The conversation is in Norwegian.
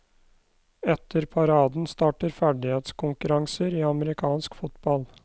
Etter paraden starter ferdighetskonkurranser i amerikansk fotball.